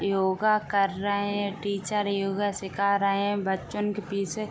योगा कर रहे हैं। टीचर योगा सीखा रहे है। बच्चों उनके पीछे --